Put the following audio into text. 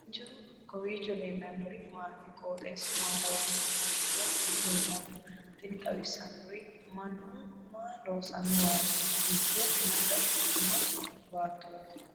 kowiicho leellannori maati ? qooxeessu maa lawaanno ? hiitoo kuuli leellanno ? tini xawissannori mannu maa loosannowaati dubbo mayra ikkitino baattooti